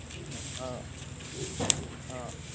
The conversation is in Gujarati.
છે ને હા હા